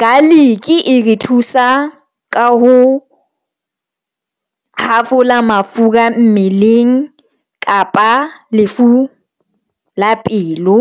Garlic e re thusa ka ho hafola mafura mmeleng kapa a lefu la pelo.